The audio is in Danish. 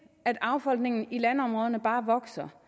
at affolkningen i landområderne bare vokser